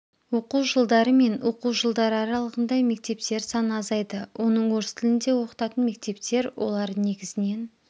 оқу жылдары мен оқу жылдары аралығында мектептер саны азайды оның орыс тілінде оқытатын мектептер олар негізінен